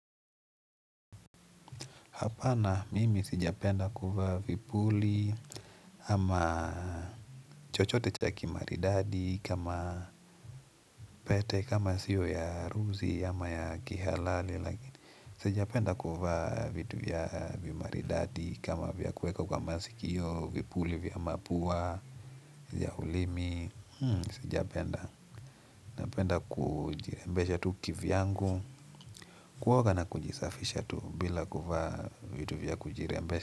Hapana mimi sijapenda kuvaa vipuli ama chochote cha kimaridadi kama pete kama siyo ya harusi ama ya kihalali. Sijapenda kuvaa vitu vya vimaridadi kama vya kueka kwa masikio vipuli vya mapua ya ulimi. Sijapenda napenda kujirembesha tu kivyangu kuoga na kujisafisha tu bila kuvaa vitu vya kujirembesha.